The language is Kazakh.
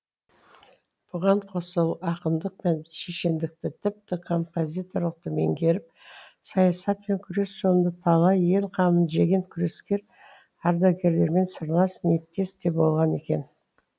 бұған қоса ақындық пен шешендікті тіпті композиторлықты меңгеріп саясат пен күрес жолында талай ел қамын жеген күрескер ардагерлермен сырлас ниеттес те болған екен